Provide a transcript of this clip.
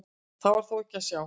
Það var þó ekki að sjá.